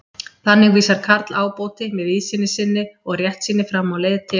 Þannig vísar Karl ábóti, með víðsýni sinni og réttsýni, fram á leið til